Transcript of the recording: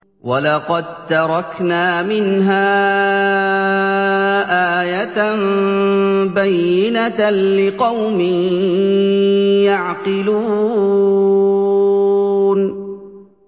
وَلَقَد تَّرَكْنَا مِنْهَا آيَةً بَيِّنَةً لِّقَوْمٍ يَعْقِلُونَ